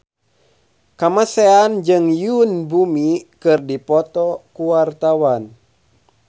Kamasean jeung Yoon Bomi keur dipoto ku wartawan